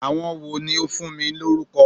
Àwọn wo ni ó fún mi lórúkọ?